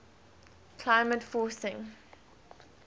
climate forcing